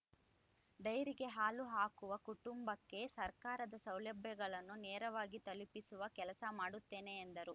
ಡೈರಿಗೆ ಹಾಲು ಹಾಕುವ ಕುಟುಂಬಕ್ಕೆ ಸರ್ಕಾರದ ಸೌಲಭ್ಯವನ್ನು ನೇರವಾಗಿ ತಲುಪಿಸುವ ಕೆಲಸ ಮಾಡುತ್ತೇನೆ ಎಂದರು